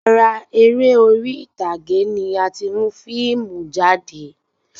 Ara eré orí ìtàgé ni a ti mu fiimu jáde